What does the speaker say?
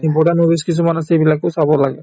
এই movies কিছুমান আছে সেইবিলাকো চাব লাগে